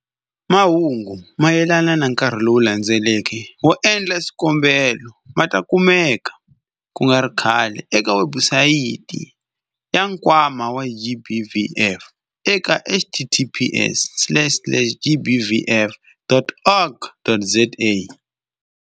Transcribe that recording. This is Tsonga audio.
Mahungu mayelana na nkarhi lowu landzelaka wo endla swikombelo ma ta kumeka ku nga ri khale eka webusayiti ya Nkwama wa GBVF eka-https-gbvf.org.za-.